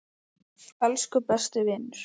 Elsku besti vinur.